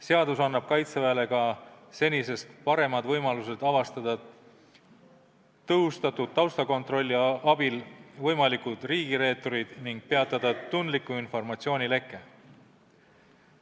Seadus annab Kaitseväele ka senisest paremad võimalused avastada tõhustatud taustakontrolli abil võimalikud riigireeturid ning peatada tundliku informatsiooni leke.